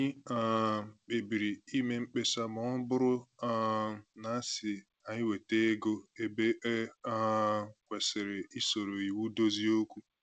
Anyị um kpebiri ime mkpesa ma ọ bụrụ um na-asị anyị weta ego ebe e um kwesịrị isoro iwu dozie okwu